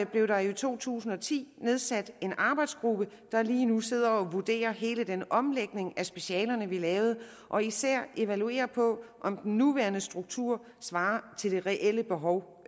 blev der i to tusind og ti nedsat en arbejdsgruppe der lige nu sidder og vurderer hele den omlægning af specialerne vi lavede og især evaluerer på om den nuværende struktur svarer til det reelle behov